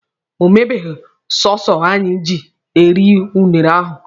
O mebeghi sọsụ anyị ji eri unere ahụ.